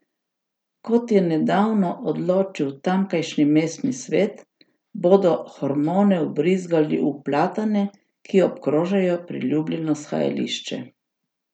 Kot je nedavno odločil tamkajšnji mestni svet, bodo hormone vbrizgali v platane, ki obkrožajo priljubljeno shajališče.